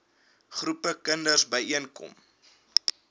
groepe kinders byeenkom